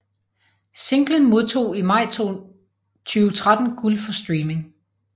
Singlen modtog i maj 2013 guld for streaming